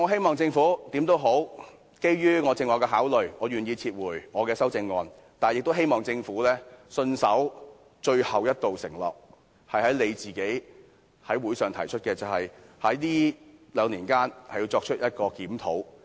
無論如何，基於我剛才所述的考慮，我願意撤回我的修正案，但我亦希望政府信守最後一道承諾：政府自己曾在法案委員會上提出，將在兩年內進行檢討。